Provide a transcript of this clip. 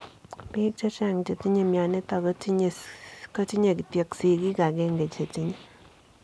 Piik chechang chetinye mionitook kotinyee kityoo sigiik agenge chetinye.